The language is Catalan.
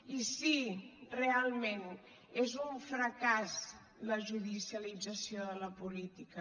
i sí realment és un fracàs la judicialització de la política